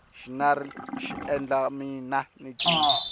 xinari lexi xi endla mina ni cina